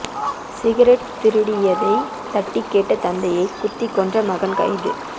cigarette திருடியதை தட்டிக் கேட்ட தந்தையைக் குத்திக் கொன்ற மகன் கைது